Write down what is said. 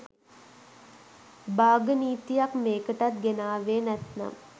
බාග නීතියක් මේකටත් ගෙනාවේ නැත්නම්.